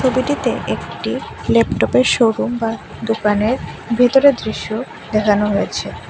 ছবিটিতে একটি ল্যাপটপের শোরুম বা দোকানের ভেতরে দৃশ্য দেখানো হয়েছে।